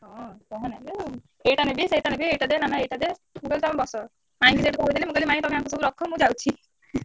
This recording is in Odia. ହଁ କହନା ଯୋଉ ଏଇଟା ନେବି ସେଇଟା ନେବି ଏଇଟା ଦେ ନାନା ଏଇଟା ଦେ। ମୁଁ କହିଲି ତମେ ବସ। ମାଇଁ ଙ୍କି ସେଇଟୁ କହିଦେଲି ମୁଁ କହିଲି ମାଇଁ ତମେ ଆଙ୍କୁ ସବୁ ରଖ ମୁଁ ଯାଉଛି।